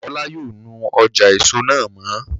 Ọlá yóò nu ọjà èso náà mọ́